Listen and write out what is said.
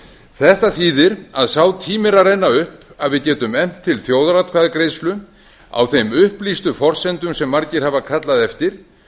þetta þýðir að sá tími er að renna upp að við getum efnt til þjóðaratkvæðagreiðslu á þeim upplýstu forsendum sem margir hafa kallað eftir